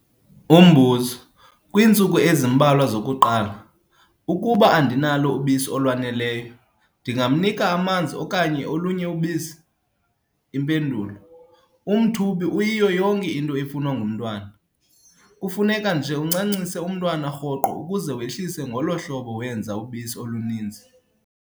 Umbuzo- Kwiintsuku ezimbalwa zokuqala, ukuba andinalo ubisi olwaneleyo, ndingamnika amanzi okanye olunye ubisi? Impendulo- Umthubi uyiyo yonke into efunwa ngumntwana. Kufuneka nje uncancise umntwana rhoqo ukuze wehlise ngolo hlobo wenza ubisi oluninzi.